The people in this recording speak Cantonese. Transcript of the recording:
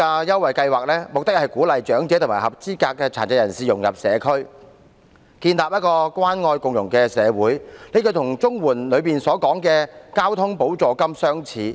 優惠計劃的目的，是鼓勵長者及合資格殘疾人士融入社區，藉以建立關愛共融的社會，這與綜援計劃下的交通補助金的目的相似。